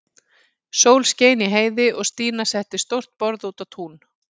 Sól skein í heiði og Stína setti stórt borð út á tún.